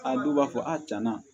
A dɔw b'a fɔ a cɛna